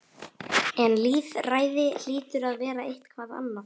En lýðræði hlýtur að vera eitthvað annað.